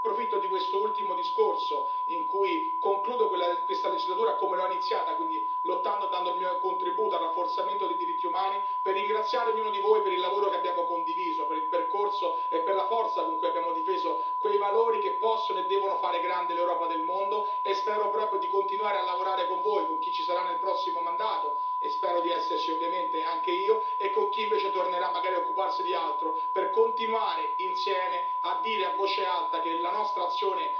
E approfitto di quest'ultimo discorso, in cui concludo questa legislatura come l'ho iniziata, quindi lottando e dando il mio contributo al rafforzamento dei diritti umani, per ringraziare ognuno di voi per il lavoro che abbiamo condiviso, per il percorso e per la forza con cui abbiamo difeso quei valori che possono e devono fare grande l'Europa nel mondo e spero proprio di continuare a lavorare con voi, con chi ci sarà nel prossimo mandato, e spero di esserci ovviamente anche io, e con chi invece tornerà magari a occuparsi di altro, per continuare insieme a dire a voce alta che la nostra azione